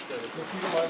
Bu normaldır.